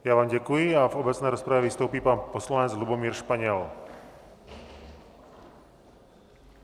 Já vám děkuji a v obecné rozpravě vystoupí pan poslanec Lubomír Španěl.